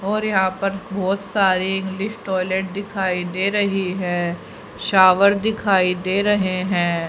और यहां पर बहुत सारे इंग्लिश टॉयलेट दिखाई दे रही है शावर दिखाई दे रहे हैं।